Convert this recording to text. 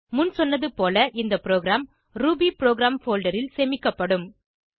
முன் சொன்னது போல இந்த ப்ரோகிராம் ரூபிபுரோகிராம் போல்டர் ல் சேமிக்கப்படும்